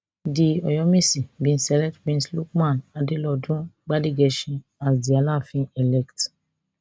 di oyomesi bin select prince lukman adelodun gbadegesin as di alaafinelect